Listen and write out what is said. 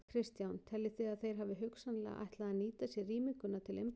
Kristján: Teljið þið að þeir hafi hugsanlega ætlað að nýta sér rýminguna til innbrota?